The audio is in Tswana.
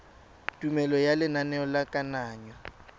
tumelelo ya lenaneo la kananyo